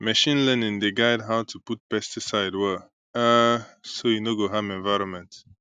machine learning dey guide how to put pesticide well um so e no go harm environment